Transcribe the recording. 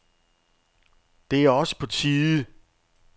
Det er også på tide.